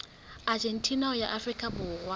argentina ho ya afrika borwa